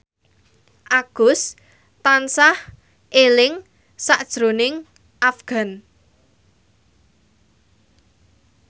Agus tansah eling sakjroning Afgan